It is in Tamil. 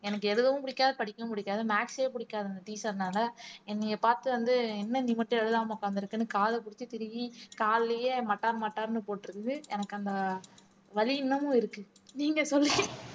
எனக்கு எழுதவும் பிடிக்காது படிக்கவும் பிடிக்காது maths ஏ பிடிக்காது அந்த teacher னால என்னைய நீங்க பார்த்து வந்து என்ன நீ மட்டும் எழுதாம உட்கார்ந்து இருக்கன்னு கால புடிச்சு திருகி கால்லயே மட்டார் மட்டார்னு போட்டுருக்குது எனக்கு அந்த வலி இன்னமும் இருக்கு நீங்க சொல்லு